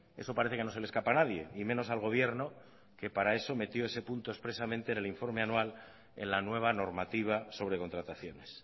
eso parece que no se le escapa a nadie y menos al gobierno que para eso metió ese punto expresamente en el informe anual en la nueva normativa sobre contrataciones